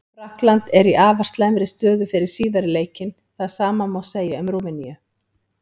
Frakkland er í afar slæmri stöðu fyrir síðari leikinn, það sama má segja um Rúmeníu.